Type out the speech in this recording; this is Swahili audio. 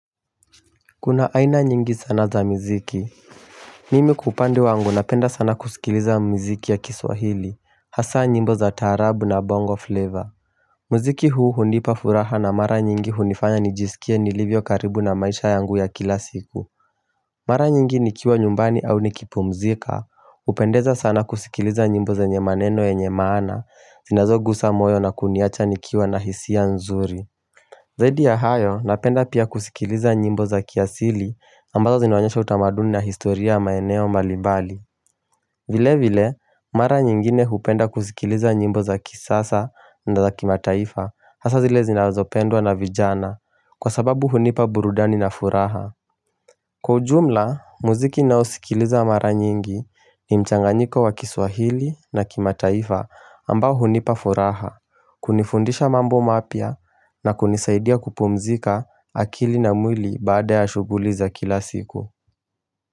Kuna aina nyingi sana za muziki mimi kwa upande wangu napenda sana kusikiliza muziki ya kiswahili hasa nyimbo za tarabu na bongo flavor, muziki huu hunipa furaha na mara nyingi hunifanya nijisikie nilivyo karibu na maisha yangu ya kila siku Mara nyingi nikiwa nyumbani au niki pumzika hupendeza sana kusikiliza nyimbo zenye maneno yenye maana zinazo guza moyo na kuniacha nikiwa na hisi nzuri Zaidi ya hayo napenda pia kusikiliza nyimbo za kiasili ambazo zinaonyesha utamaduni na historia maeneo mbalimbali. Vile vile, mara nyingine hupenda kusikiliza nyimbo za kisasa na za kimataifa hasa zile zinazopendwa na vijana kwa sababu hunipa burudani na furaha. Kwa ujumla, muziki ninaosikiliza mara nyingi ni mchanganyiko wa kiswahili na kimataifa ambao hunipafuraha, kunifundisha mambo mapia na kunisaidia kupumzika akili na mwili baada ya shughuli za kila siku.